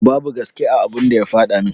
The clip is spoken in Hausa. Babu gaske a abun da ya faɗa min.